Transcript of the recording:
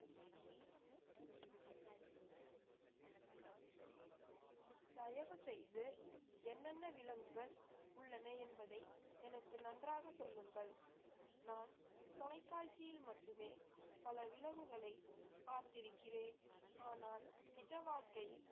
தயவு செய்து என்னென்ன விலங்குகள் உள்ளன என்பதை எனக்கு நன்றாக சொல்லுங்கள் நான் தொலைக்காட்சியில் மட்டுமே பல விலங்குகளை பார்த்திருக்கிறேன் ஆனால் நிஜவாழ்க்கையில்